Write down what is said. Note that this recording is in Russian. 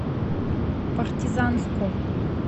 партизанску